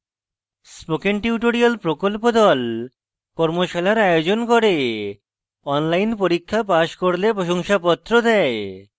spoken tutorial প্রকল্প the কর্মশালার আয়োজন করে অনলাইন পরীক্ষা পাস করলে প্রশংসাপত্র দেয়